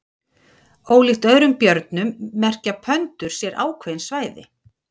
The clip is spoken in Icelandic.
ólíkt öðrum björnum merkja pöndur sér ákveðin svæði